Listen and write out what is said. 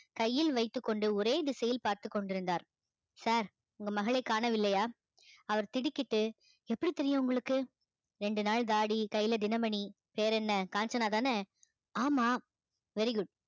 கையில் வைத்துக்கொண்டு ஒரே திசையில் பார்த்துக் கொண்டிருந்தார் sir உங்க மகளைக் காணவில்லையா அவர் திடுக்கிட்டு எப்படி தெரியும் உங்களுக்கு ரெண்டு நாள் தாடி கையில தினமணி வேற என்ன காஞ்சனாதானே ஆமாம் very good